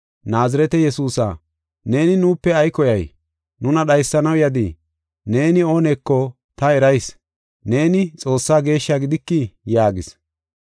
“Naazirete Yesuusa, neeni nuupe ay koyay? Nuna dhaysanaw yadii? Neeni ooneko ta erayis; neeni Xoossaa Geeshshaa gidikii?” yaagis.